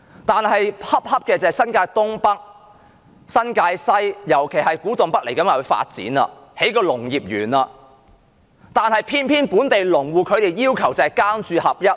但新界東北、新界西，尤其是古洞北未來要發展，將興建農業園，可偏偏本地農戶要求"耕住合一"。